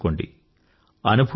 అర్థం చేసుకోండి